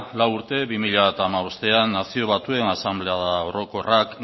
lau urte bi mila hamabostean nazio batuen asanblada orokorrak